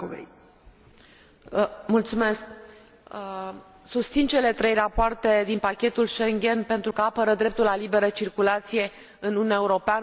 Susțin cele trei rapoarte din pachetul Schengen, pentru că apără dreptul la liberă circulație în Uniunea Europeană, unul din bunurile cele mai de preț pe care le are Uniunea.